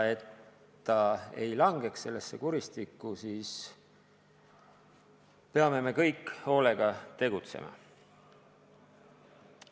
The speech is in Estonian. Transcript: Et ta ei langeks sellesse kuristikku, peame kõik hoolega tegutsema.